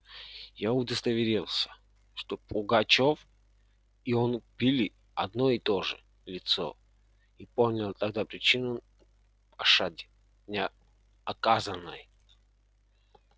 я удостоверился что пугачёв и он были одно и то же лицо и понял тогда причину оказанной